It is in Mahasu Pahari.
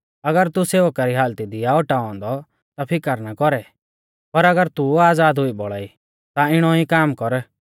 अगर तू सेवका री हालती दी आ औटाऔ औन्दौ ता फिकर ना कौरै पर अगर तू आज़ाद हुई बौल़ा ई ता इणौ ई काम कर